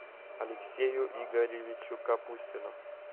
алексею игоревичу капустину